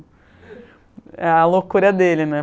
É a loucura dele, né?